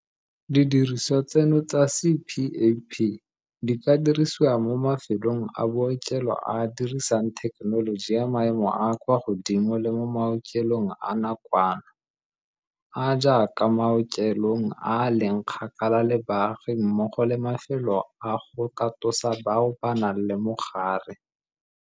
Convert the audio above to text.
Didirisiwa tseno tsa CPAP di ka dirisiwa mo mafelong a bookelo a a dirisang thekenoloji ya maemo a a kwa godimo le mo maokelong a nakwana, a a jaaka maokelong a a leng kgakala le baagi mmogo le mafelo a go katosa bao ba nang le mogare.